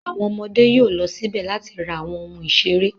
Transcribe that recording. Àwọn ọmọdé yóò lọ síbẹ̀ láti ra àwọn ohun ìṣeré.